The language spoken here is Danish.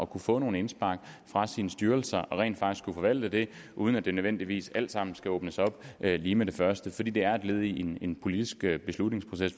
kunne få nogle indspark fra sine styrelser og rent faktisk kunne forvalte det uden at det nødvendigvis alt sammen skal åbnes op lige med det første fordi det er et led i en politisk beslutningsproces